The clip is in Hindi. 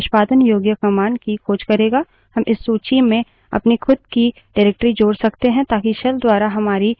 हम इस सूची में अपनी खुद की निर्देशिका directory जोड़ सकते हैं ताकि shell द्वारा हमारी निर्देशिका directory भी ढूँढी जाय